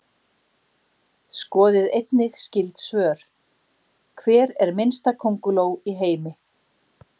Skoðið einnig skyld svör: Hver er minnsta könguló í heimi?